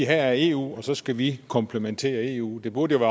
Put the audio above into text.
her er eu og så skal vi komplementere eu det burde